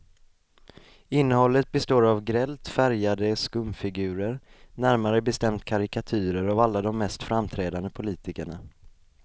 Innehållet består av grällt färgade skumfigurer, närmare bestämt karikatyrer av alla de mest framträdande politikerna.